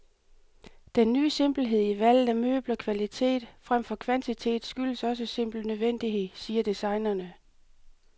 Den ny simpelhed i valget af møbler, kvalitet fremfor kvantitet, skyldes også simpel nødvendighed, siger designerne.